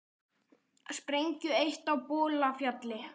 Sprengju eytt á Bolafjalli